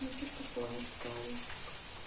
пишет такое что